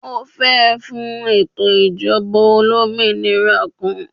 O fẹ fun eto ijọba olominira kan.